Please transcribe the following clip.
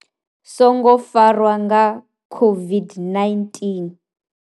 songo farwa nga COVID-19?